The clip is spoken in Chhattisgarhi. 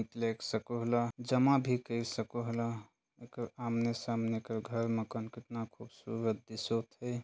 लेग सकोहला जमा भी कई सकोहला एकर आमने-सामने कर घर मकान कतना खूबसूरत दिसोत हे।